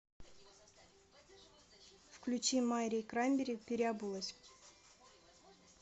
включи мари краймбери переобулась